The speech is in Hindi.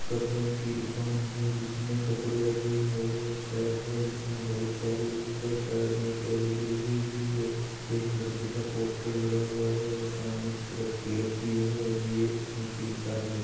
कपड़ो की दुकान है जिसमे कपडे रखे हुये है शर्ट है जिसमे बहुत सारी उपर शर्ट में एक एल ई डी लगी हुई है एक लड़के का पोस्टर लगा हुवा है और सामने की तरफ गेट भी है और ये एक नीचे इंसान भी --